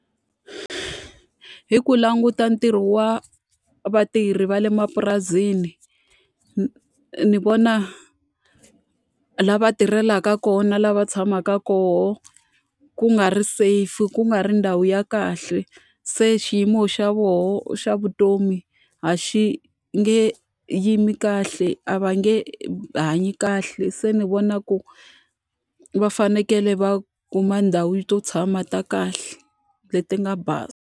I ku languta ntirho wa vatirhi va le mapurasini. ni vona laha va tirhelaka kona na laha va tshamaka kona ku nga ri safe, ku nga ri ndhawu ya kahle. Se xiyimo xa vona xa vutomi a xi nge yimi kahle, a va nge hanyi kahle. Se ni vona ku va fanekele va kuma ndhawu to tshama ta kahle leti nga basa.